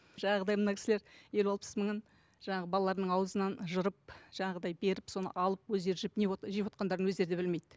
жаңағыдай мына кісілер елу алпыс мыңын жаңағы балаларынының аузынан жырып жаңағындай беріп соны алып өздері жеп не жевотқандарын өздері де білмейді